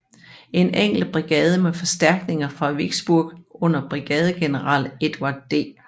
En enkelt brigade med forstærkninger fra Vicksburg under brigadegeneral Edward D